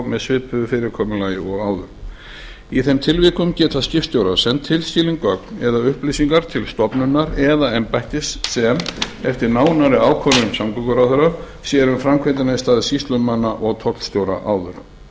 með svipuðu fyrirkomulagi og áður í þeim tilvikum geta skipstjórar sent tilskilin gögn eða upplýsingar til stofnunar eða embættis sem eftir nánari ákvörðun samgönguráðherra sér um framkvæmdina í stað sýslumanna og tollstjóra áður